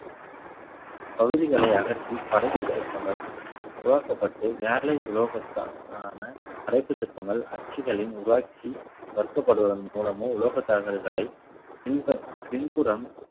பகுதிகளை அகற்றி படைப்புச் சிற்பங்கள் உருவாக்கப்பட்டு வேலை உலோகத்தால் ஆன புடைப்பு சிற்பங்கள் அச்சுகளின் உருவாக்கி வர்க்கப்படுவதன் மூலமோ உலகத் தகடுகளை பின்ப~ பின்புறம்